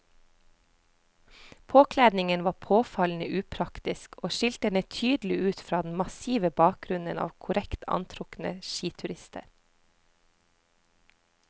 Påkledningen var påfallende upraktisk og skilte henne tydelig ut fra den massive bakgrunnen av korrekt antrukne skiturister.